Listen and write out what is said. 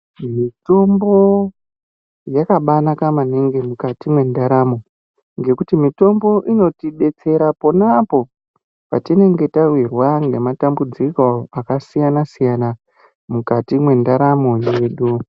Mitombo yakabaa naka maningi mukati mwendaramo ngekuti mitombo ino tidetsera ponapo patinenge tawirwa ngematambudziko akasiyana siyana mukati mwendaramo dzedu.